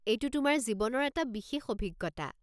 এইটো তোমাৰ জীৱনৰ এটা বিশেষ অভিজ্ঞতা।